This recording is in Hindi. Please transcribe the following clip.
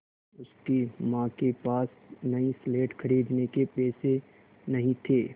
उसकी माँ के पास नई स्लेट खरीदने के पैसे नहीं थे